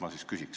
Ma siis küsin.